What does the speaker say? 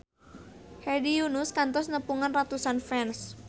Hedi Yunus kantos nepungan ratusan fans